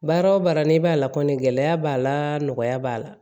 Baara o baara n'i b'a la kɔni gɛlɛya b'a la nɔgɔya b'a la